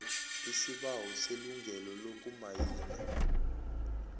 isibawo selungelo lokumayina